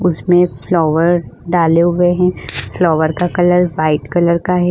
उसमें फ्लावर डाले हुए हैं फ्लावर का कलर वाइट कलर का है।